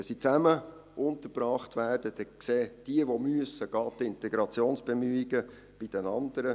Wenn sie zusammen untergebracht werden, dann sehen diejenigen, die gehen müssen, die Integrationsbemühungen bei den anderen.